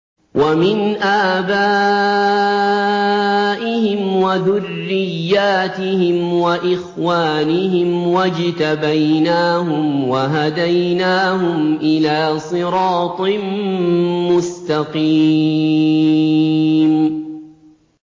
وَمِنْ آبَائِهِمْ وَذُرِّيَّاتِهِمْ وَإِخْوَانِهِمْ ۖ وَاجْتَبَيْنَاهُمْ وَهَدَيْنَاهُمْ إِلَىٰ صِرَاطٍ مُّسْتَقِيمٍ